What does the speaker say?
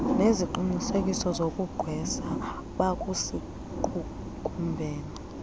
ngeziqinisekiso zokugqwesa bakusiqukumbela